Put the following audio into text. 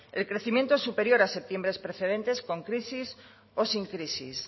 el crecimiento es superior a septiembre precedentes con crisis o sin crisis